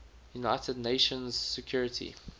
united nations security